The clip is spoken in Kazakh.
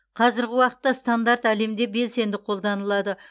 қазіргі уақытта стандарт әлемде белсенді қолданылады